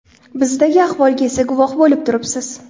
Bizdagi ahvolga esa guvoh bo‘lib turibsiz.